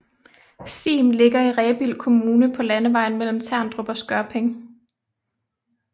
Siem ligger i Rebild Kommune på landevejen mellem Terndrup og Skørping